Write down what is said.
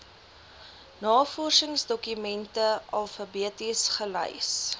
navorsingsdokumente alfabeties gelys